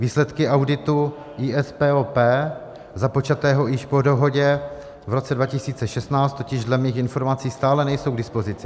Výsledky auditu ISPOP, započatého již po dohodě v roce 2016, totiž dle mých informací stále nejsou k dispozici.